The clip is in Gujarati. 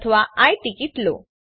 અથવા આઈ ટીકીટ લો